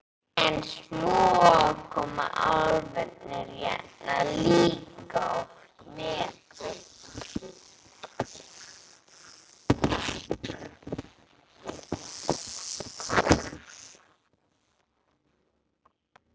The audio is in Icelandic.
En svo koma álfarnir hérna líka oft með fólki.